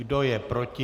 Kdo je proti?